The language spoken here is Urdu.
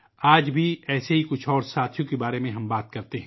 آج بھی، ہم ایسے ہی دوستوں کے بارے میں بات کریں گے